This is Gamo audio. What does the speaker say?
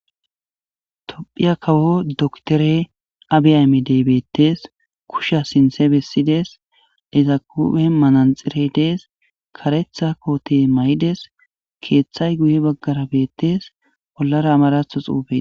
Tophiya kawo doktore Abi aymedey beettes. Kushiya sinthe bessides. Ezaka huuphen manaxire de7es. karetha koote may7ides keeththay guye baggara beettes. Bollara amaratho xuufe